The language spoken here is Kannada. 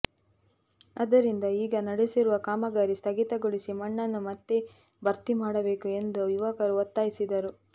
ಆದ್ದರಿಂದ ಈಗ ನಡೆಸಿರುವ ಕಾಮಗಾರಿ ಸ್ಥಗಿತಗೊಳಿಸಿ ಮಣ್ಣನ್ನು ಮತ್ತೆ ಭರ್ತಿ ಮಾಡಬೇಕು ಎಂದು ಯುವಕರು ಒತ್ತಾಯಿಸಿದರು